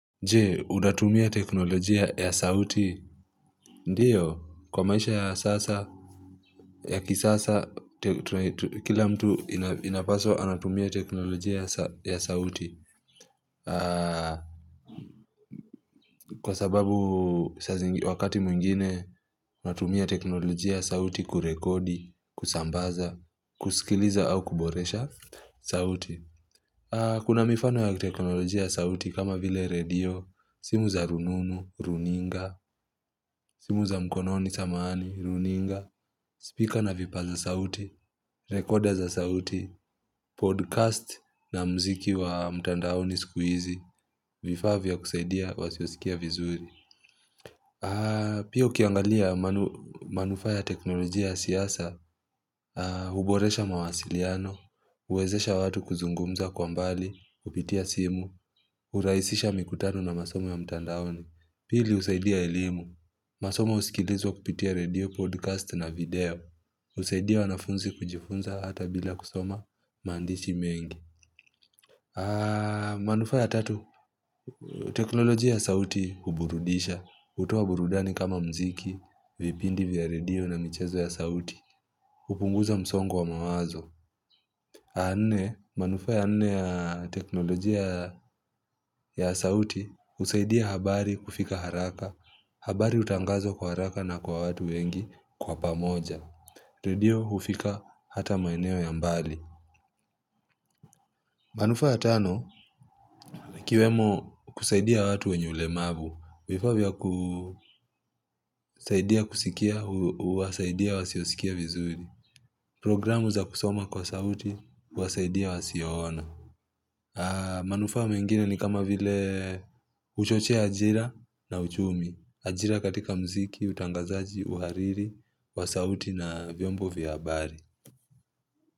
Je, unatumia teknolojia ya sauti? Ndiyo, kwa maisha ya sasa, ya kisasa, kila mtu inapaswa anatumia teknolojia ya sauti. Kwa sababu wakati mwingine, natumia teknolojia ya sauti kurekodi, kusambaza, kusikiliza au kuboresha sauti. Kuna mifano ya teknolojia ya sauti kama vile radio, simu za rununu, runinga, simu za mkononi, samahani, runinga, spika na vipaza sauti, rikoda za sauti, podkast na muziki wa mtandaoni siku hizi, vifaa vya kusaidia wasiosikia vizuri. Pia ukiangalia manufaa ya teknolojia ya siasa, huboresha mawasiliano, huwezesha watu kuzungumza kwa mbali kupitia simu, hurahisisha mikutano na masomo ya mtandaoni, pili husaidia elimu, masomo husikilizwa kupitia redio, podkasiti na video, husaidia wanafunzi kujifunza hata bila kusoma maandishi mengi. Manufaa ya tatu, teknolojia ya sauti huburudisha, hutoa burudani kama muziki, vipindi vya radio na michezo ya sauti, hupunguza msongo wa mawazo. Nne, manufaa ya nne ya teknolojia ya sauti, husaidia habari kufika haraka, habari hutangazwa kwa haraka na kwa watu wengi kwa pamoja. Radio hufika hata maeneo ya mbali. Manufaa ya tano, ikiwemo kusaidia watu wenye ulemavu, vifaa vya kusaidia kusikia, huwasaidia wasiosikia vizuri. Programu za kusoma kwa sauti, huwasaidia wasioona. Manufaa mengine ni kama vile huchochea ajira na uchumi. Ajira katika muziki, utangazaji, uhariri, wa sauti na vyombo vya habari.